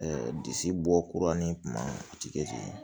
disi bɔ kura ni kuma o ti kɛ ten